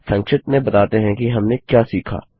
संक्षिप्त में बताते हैं कि हमने क्या सीखा